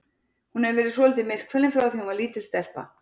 Hún hefur verið svolítið myrkfælin frá því að hún var lítil stelpa.